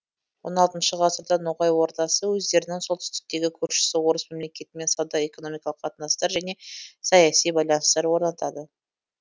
он алтыншы ғасырда ноғай ордасы өздерінің солтүстіктегі көршісі орыс мемлекетімен сауда экономикалық қатынастар және саяси байланыстар орнатады